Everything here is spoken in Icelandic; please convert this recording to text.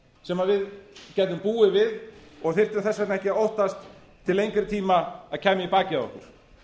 sem við gætum búið við og þyrftum þess vegna ekki að óttast til lengri tíma að kæmi í bakið á okkur